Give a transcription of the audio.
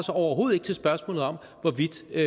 overhovedet ikke til spørgsmålet om hvorvidt det